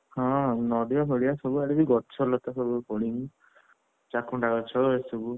ହଁ ନଡିଆ ଫଡିଆ ସବୁଆଡେ ବି ସବୁ ଗଛ ଲତା ପଡିନି ଚାକୁଣ୍ଡା ଗଛ ଏସବୁ,